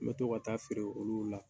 N bɛ to ka taa feere olu la.